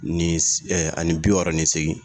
Ni ani bi wɔɔrɔ ni seegin